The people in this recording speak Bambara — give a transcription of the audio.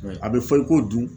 A bɛ fɔl i ko dun